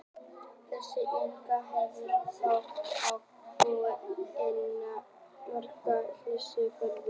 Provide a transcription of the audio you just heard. Þessi eini vefþjónn hefur þá möguleika á að búa til óendanlega margar mismunandi vefsíður.